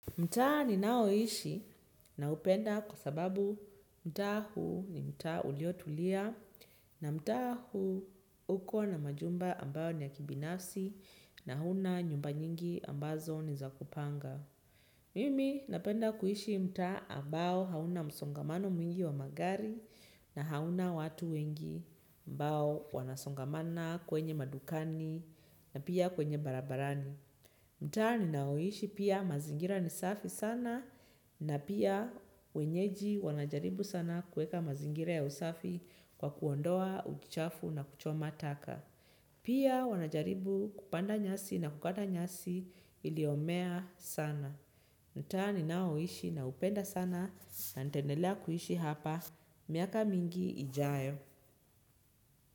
Mtaa ninaoishi naupenda kwa sababu mtaa huu ni mtaa uliotulia na mtaa huu uko na majumba ambayo ni ya kibinafsi na huna nyumba nyingi ambazo ni za kupanga. Mimi napenda kuishi mtaa ambao hauna msongamano mwingi wa magari na hauna watu wengi ambao wanasongamana kwenye madukani na pia kwenye barabarani. Mtaa ninaoishi pia mazingira ni safi sana na pia wenyeji wanajaribu sana kuweka mazingira ya usafi kwa kuondoa, uchafu na kuchoma taka. Pia wanajaribu kupanda nyasi na kukata nyasi iliomea sana. Mtaani ninaoishi naupenda sana na nitaendelea kuhishi hapa. Miaka mingi ijayo.